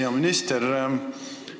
Hea minister!